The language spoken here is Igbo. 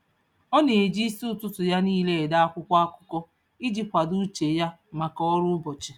Ọ na-eji isi ụtụtụ ya niile ede akwụkwọ akụkọ iji kwado uche ya maka ọrụ ụbọchị.